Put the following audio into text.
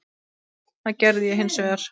Það gerði ég hins vegar.